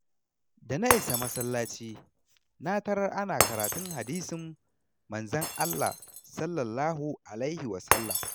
Da na isa masallaci, na tarar ana karatun hadisan Manzon Allah (SAW).